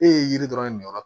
E ye yiri dɔrɔn de yɔrɔ